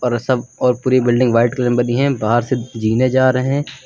अरे सब और पूरी बिल्डिंग व्हाइट कलर में बनी हैं बाहर से जीने जा रहे हैं।